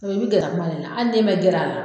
gɛrɛ a kuma le la hali n'e ma gɛr'a la